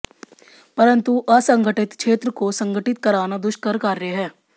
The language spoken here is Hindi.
परन्तु असंगठित क्षेत्र को संगठित कराना दुष्कर कार्य है